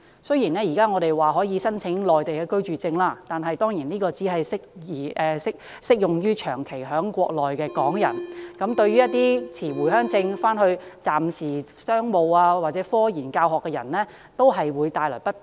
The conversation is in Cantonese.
雖然香港居民現時可以申請內地居住證，但有關文件只適用於長期在內地的港人，一些持回鄉證往返內地的商務、科研或教學人員等都會感到不便。